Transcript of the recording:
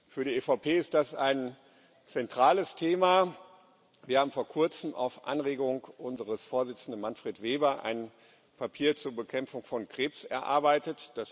Für die EVP ist das ein zentrales Thema. Wir haben vor kurzem auf Anregung unseres Vorsitzenden, Manfred Weber, ein Papier zur Bekämpfung von Krebs erarbeitet.